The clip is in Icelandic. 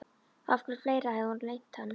Og hverju fleira hafði hún leynt hann?